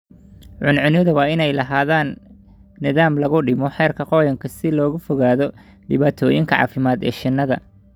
Cuncunyadu waa inay lahaadaan nidaam lagu dhimo heerka qoyaanka si looga fogaado dhibaatooyinka caafimaad ee shinnida.